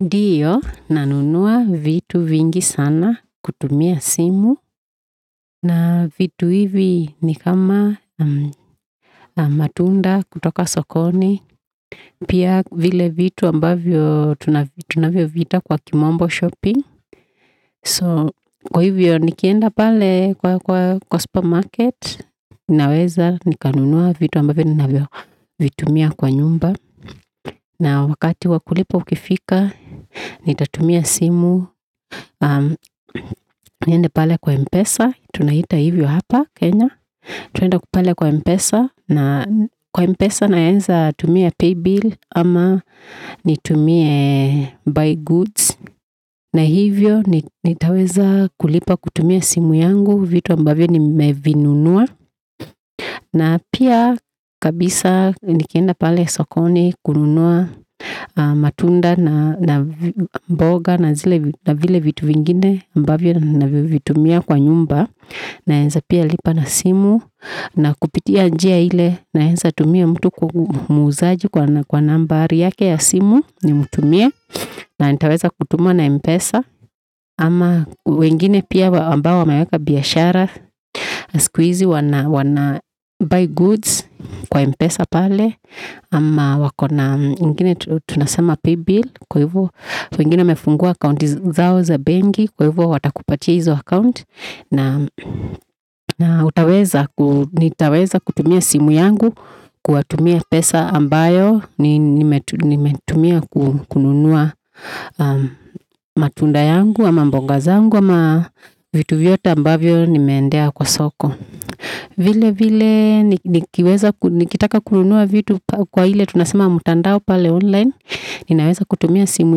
Ndiyo nanunua vitu vingi sana kutumia simu na vitu hivi ni kama matunda kutoka sokoni pia vile vitu ambavyo tunavyoviita kwa kimombo shopping. So kwa hivyo nikienda pale kwa supermarket, ninaweza nikanunua vitu ambavyo ninavyovitumia kwa nyumba. Na wakati wa kulipwa ukifika, nitatumia simu, niende pale kwa Mpesa, tunaiita hivyo hapa Kenya. Tuende pale kwa Mpesa, na kwa Mpesa naeza tumia paybill ama nitumie buy goods. Na hivyo nitaweza kulipa kutumia simu yangu vitu ambavyo nimevinunua. Na pia kabisa nikienda pale sokoni kununua matunda na mboga na vile vitu vingine ambavyo navyovitumia kwa nyumba. Naeza pia lipa na simu na kupitia njia ile naeza tumia mtu muuzaji kwa nambari yake ya simu nimtumie. Na nitaweza kutuma na mpesa. Ama wengine pia ambao wamaweka biashara siku hizi wana buy goods kwa mpesa pale. Ama wakona, wengine tunasema pay bill. Kwa hivyo wengine wamefungua account zao za benki. Kwa hivyo watakupatia hizo account. Na nitaweza kutumia simu yangu kwa tumia pesa ambayo nimetumia kununua matunda yangu. Ama mbongazangu. Ama vitu vyote ambavyo nimeendea kwa soko. Vile vile nikitaka kununua vitu kwa ile tunasema mtandao pale online. Ninaweza kutumia simu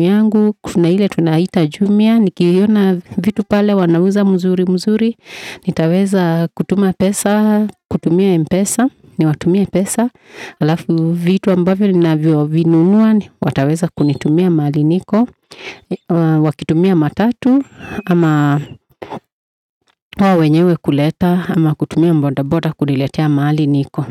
yangu. Kutumia ile tunaita jumia. Nikiona vitu pale wanauza mzuri mzuri. Nitaweza kutuma pesa. Kutumia mpesa. Niwatumia pesa alafu vitu ambavyo ninavyovinunua wataweza kunitumia mahali niko wakitumia matatu ama wao wenyewe kuleta ama kutumia bodaboda kuniletea mahali niko.